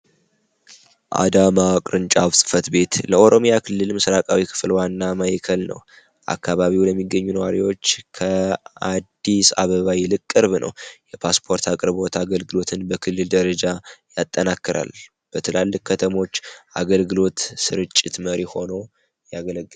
አዳማ ቅርንጫፍ ቤት ለኦሮሚያ ክልል ምስራቃዊ ክፍል ዋና የከል ነው አካባቢው ለሚገኙ ከአዲስ አበባ ይልቅ ነው የፓስፖርት አቅርቦት አገልግሎትን በክልል ደረጃ ያጠናከራል በትላልቅ ከተሞች አገልግሎት ስርጭት መሪ ሆኖ ያገለገል።